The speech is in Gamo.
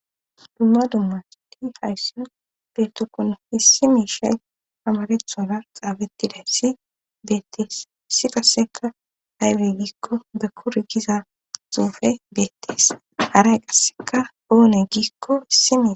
dumma dummadi hayssin betokono hissi miishay amarethona xaabettiday si beettees si kasseka haywe giikko dakur giza xuufe beettees haray qasseka oone gikko issimie